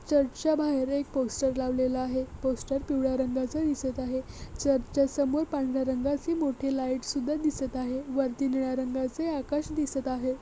चर्चच्या बाहेर एक पोस्टर लावलेला आहे पोस्टर पिवळ्या रंगाचा दिसत आहे चर्चच्या समोर पांढऱ्या रंगाची मोठी लाईट सुद्धा दिसत आहे वरती निळ्या रंगाचे आकाश दिसत आहे.